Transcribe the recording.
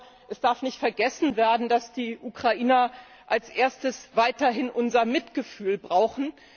Ich glaube, es darf nicht vergessen werden, dass die Ukrainer als Erstes weiterhin unser Mitgefühl brauchen.